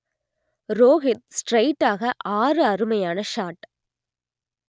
ரோஹித் ஸ்ட்ரைட்டாக ஆறு அருமையான ஷாட்